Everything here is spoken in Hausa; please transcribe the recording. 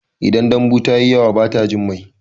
Idan dambu tayi yawa bata jin mai